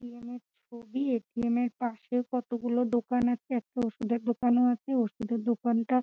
ATM -এর ছবি ATM -এর পাশে কতগুলো দোকান আছে একটা ওষুধের দোকানও আছে ওষুধের দোকানটা--